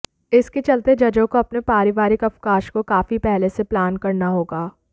इसके चलते जजों को अपने पारिवारिक अवकाश को काफी पहले से प्लान करना होगा